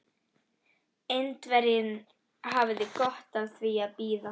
Indverjinn hafði gott af því að bíða.